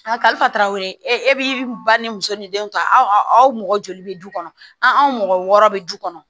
A kalifaraw ye e bɛ ba ni muso ni denw ta aw aw mɔgɔ joli bɛ du kɔnɔ an mɔgɔ wɔɔrɔ bɛ du kɔnɔ